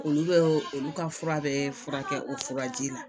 Olu bɛ olu ka fura bɛ fura kɛ o furaji la